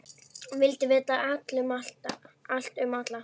Vildi vita allt um alla.